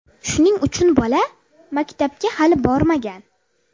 Shuning uchun bola maktabga hali bormagan.